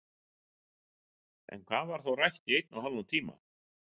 En hvað var þá rætt í einn og hálfan tíma?